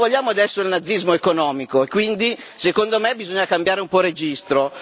Non vogliamo adesso il nazismo economico e quindi, secondo me, bisogna cambiare un po' registro.